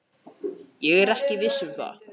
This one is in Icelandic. Ekki er ég viss um það.